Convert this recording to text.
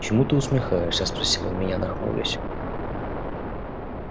чему ты усмехаешься спросил он меня нахмурясь